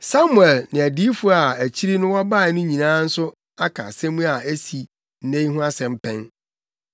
“Samuel ne adiyifo a akyiri no wɔbae no nyinaa nso aka asɛm a asi nnɛ yi ho asɛm pɛn.